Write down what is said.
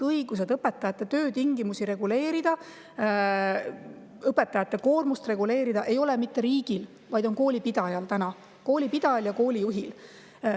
Õigus õpetajate töötingimusi reguleerida, õpetajate koormust reguleerida ei ole mitte riigil, vaid koolipidajal – koolipidajal ja koolijuhil.